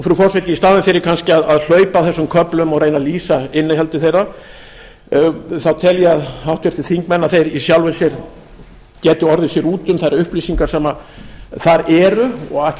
frú forseti í staðinn fyrir kannski að hlaupa á þessum köflum og reyna að lýsa innihaldi þeirra þá tel ég að háttvirtir þingmenn í sjálfu sér geti orðið sér úti um þær upplýsingar sem þar eru og ætla